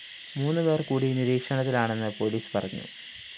മൂന്നു പേര്‍ കൂടി നിരീക്ഷണത്തിലാണെന്ന് പോലീസ് പറഞ്ഞു